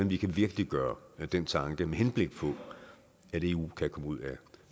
vi kan virkeliggøre den tanke med henblik på at eu kan komme ud af